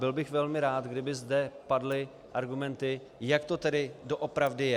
Byl bych velmi rád, kdyby zde padly argumenty, jak to tedy doopravdy je.